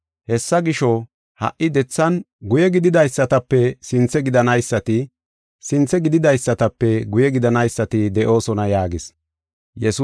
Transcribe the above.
Hessa gisho, ha77i dethan guye gididaysatape sinthe gidanaysati, sinthe gididaysatape guye gidanaysati de7oosona” yaagis.